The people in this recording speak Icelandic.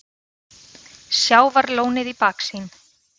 Sjávarlónið í baksýn.